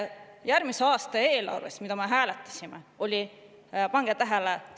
Järgmise aasta eelarve, mida me hääletasime – pange tähele!